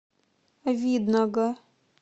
видного